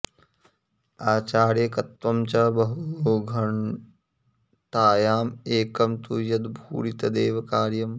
आचार्यकत्वं च बहु घ्नतायाम् एकं तु यद् भूरि तदेव कार्यम्